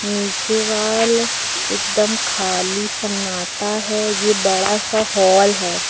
नीचे वॉल एकदम खाली सन्नाटा है ये बड़ा सा हाल है।